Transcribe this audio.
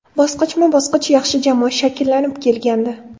Bosqichma-bosqich yaxshi jamoa shakllanib kelgandi.